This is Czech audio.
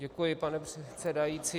Děkuji, pane předsedající.